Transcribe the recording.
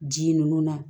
Ji ninnu na